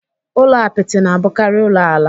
Ụlọ apịtị na-abụkari ulo ala